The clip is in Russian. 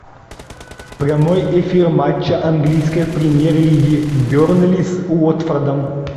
прямой эфир матча английской премьер лиги бернли с уотфордом